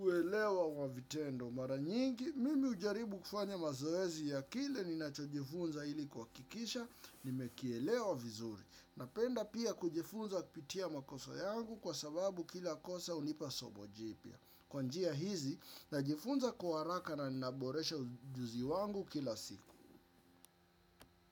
uelewa wa vitendo. Mara nyingi, mimi hujaribu kufanya mazoezi ya kile ninacho jifunza ili kuhakikisha, nimekielewa vizuri. Napenda pia kujifunza kupitia makosa yangu kwa sababu kila kosa hunipa somo jipya. Kwa njia hizi najifunza kwa haraka na naboresha ujuzi wangu kila siku.